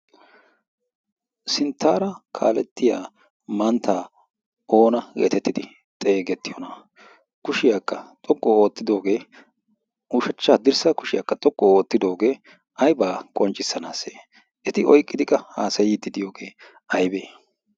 Sinttara kaaletiyaa mantta oona getettidi xegeetiyoona? kushiyaa xoqqu oottidooge ushachcha haddirssa kushiyaaka xoqqu ootidoogee aybba qoccissanasse? eti oyqqide qa haassaydde diyoode aybbe?